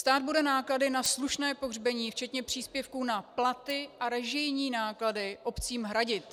Stát bude náklady na slušné pohřbení včetně příspěvků na platy a režijní náklady obcím hradit.